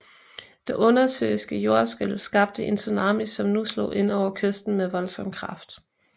Det undersøiske jordskælv skabte en tsunami som nu slog ind over kysten med voldsom kraft